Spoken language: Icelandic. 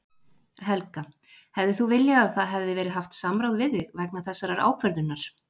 Helga: Hefðir þú viljað að það hefði verið haft samráð við þig vegna þessarar ákvörðunar?